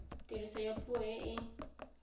tiriso ya puo e e